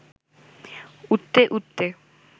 উঠতে উঠতে